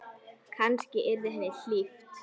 Kannski yrði henni hlíft.